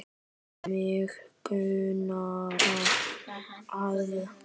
Mig grunar það.